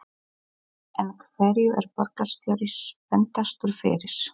En hverju er borgarstjóri spenntastur fyrir?